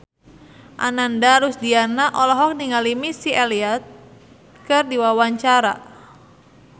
Ananda Rusdiana olohok ningali Missy Elliott keur diwawancara